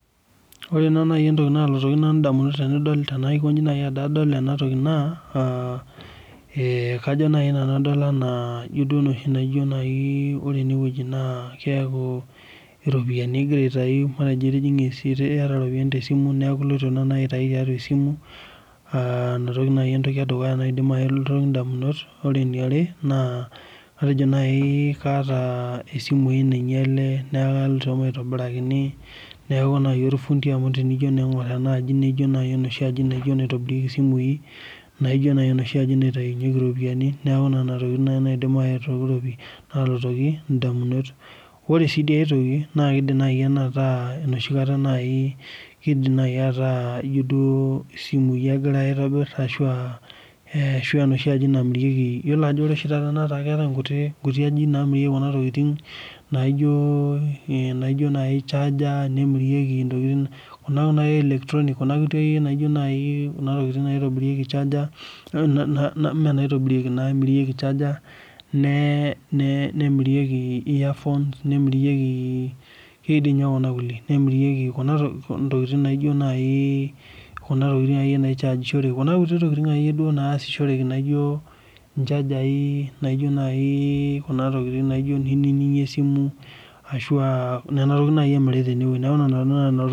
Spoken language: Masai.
Ore ena naalotu nanu idamunot tenadol ena toki naa, we kajo naaji nanu adop anaa, ijo duo noshi, naijo naaji ore ene wueji naa keeku iropiyiani egira aitayu, matejo itijinga esiai .iyata iropiyiani te simu, neeku iloito naaji aitayu tiatua esimu, Nena tokitin naaji entoki edukuya naidim ayeu nanu damunot naa ore eniare. atejo naaji kaata, isimui naingiale, neeku kaloito maitobitlrakini. neeku naaji olfundi tenijo naaji aing'or enaani ijo enaitobirieki simui. naijo naaji enoshi aji naitobirunyeki isimui. neeku nena tokitin naaji naidim nalotu damunot. ore sii dii ae toki naa kidim naaji ena aataa. enosho kata naai kidim naaji ataa ijo duo simui egirae aitobir, ashu aa enoshi aji namirieki. keetae oshi taata nkuti ajijik naamirieki Kuna tokitin naijo naaji charger. naijo naaji n